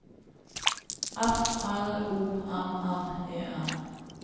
F L O M M E N